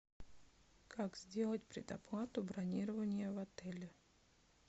как сделать предоплату бронирования в отеле